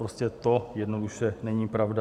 Prostě to jednoduše není pravda.